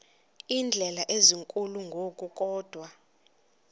iindleko ezinkulu ngokukodwa